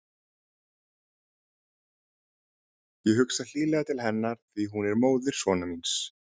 Ég hugsa hlýlega til hennar því að hún er móðir sonar míns.